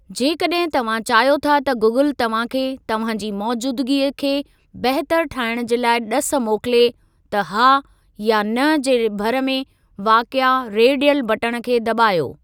जेकड॒हिं तव्हां चाहियो था त गूगल तव्हां खे, तव्हां जी मौजूदगीअ खे बहितर ठाहिणु जे लाइ ड॒स मोकिले त 'हा' या 'न' जे भर में वाक़िए रेडियल बटण खे दॿायो।